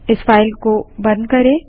इस फाइल को बंद करें